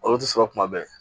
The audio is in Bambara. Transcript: Olu tɛ sɔrɔ kuma bɛɛ